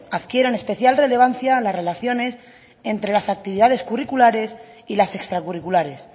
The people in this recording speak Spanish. adquieren especial relevancia las relaciones entre las actividades curriculares y las extracurriculares